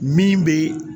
Min bɛ